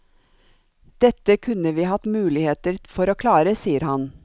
Dette kunne vi hatt muligheter for å klare, sier han.